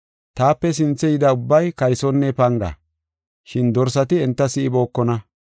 Taape sinthe yida ubbay kaysonne panga, shin dorsati enta si7ibookona.